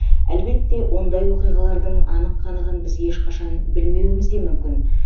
әлбетте ондай оқиғалардың анық қанығын біз ешқашан білмеуіміз де мүмкін